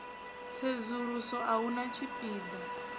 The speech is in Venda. tsedzuluso a hu na tshipida